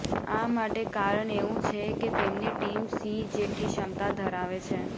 આ માટે કારણ એવું છે કે તેમની ટીમ સિંહ જેટલી ક્ષમતા ધરાવે છે